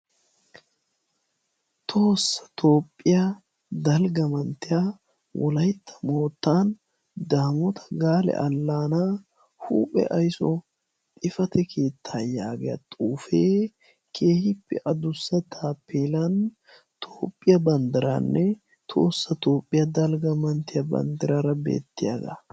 toossa toophphiyaa dalgga manttiya wolaytta moottan daamota gaale allaana huuphe aysso xifate keettaa yaagiya xuufee keehippe adussa tapelan toophphiyaa banddiraanne toossa toopphiyaa dalgga manttiya banddiraara beettiyaagaa